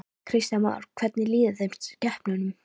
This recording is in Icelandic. Kristján Már: Hvernig líður þeim, skepnunum?